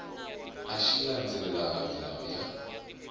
a xi landzelelangi milawu ya